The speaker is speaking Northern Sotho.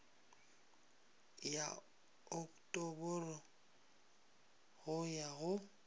ya oktoboro go ya go